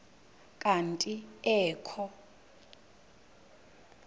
kanti ee kho